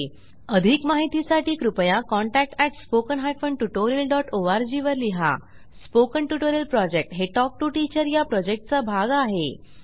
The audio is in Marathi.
अधिक माहितीसाठी कृपया contact at spoken hyphen tutorial dot O R G वर लिहा स्पोकन ट्युटोरियल प्रॉजेक्ट हे टॉक टू टीचर या प्रॉजेक्टचा भाग आहे